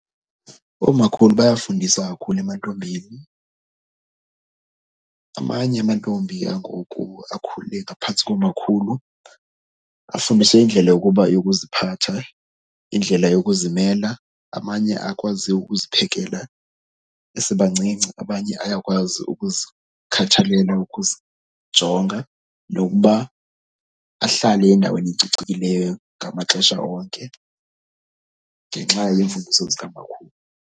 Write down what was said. Oomakhulu bayafundisa kakhulu emantombini. Amanye amantombi angoku akhule ngaphantsi koomakhulu afundiswe indlela yokuba yokuziphatha, indlela yokuzimela. Amanye akwaziyo ukuziphekela besebancinci. Abanye bayakwazi ukuzikhathalela, ukuzijonga nokuba ahlale endaweni ecocekileyo ngamaxesha onke ngenxa yemfundiso zikamakhulu.